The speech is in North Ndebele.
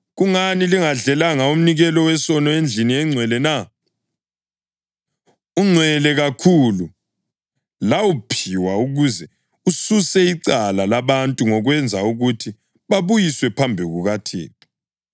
“Kungani lingadlelanga umnikelo wesono endlini engcwele na? Ungcwele kakhulu; lawuphiwa ukuze ususe icala labantu ngokwenza ukuthi babuyiswe phambi kukaThixo.